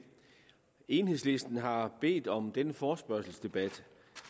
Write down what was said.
enhedslisten har bedt om denne forespørgselsdebat